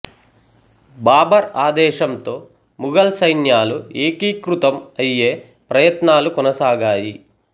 బాబర్ ఆదేశంతో ముగల్ సైన్యాలు ఏకీకృతం అయ్యే ప్రయత్నాలు కొనసాగాయి